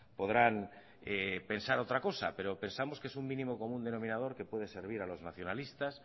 podrán pensar otra cosa pero pensamos que es un mínimo común denominador que puede servir a los nacionalistas